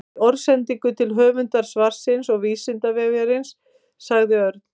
Í orðsendingu til höfundar svarsins og Vísindavefsins sagði Örn: